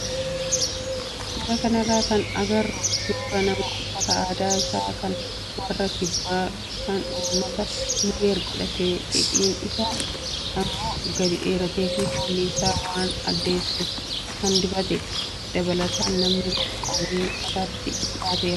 Suuraa kanarraa kan agarru suuraa nama uffata aadaa isaa kan warra kibbaa kan uummata nuweer godhatee hidhiin isaa immoo gadi dheeratee fi fuula isaa waan addeessu kan dibatedha. Dabalataan namni kun qawwee mataatti baateera.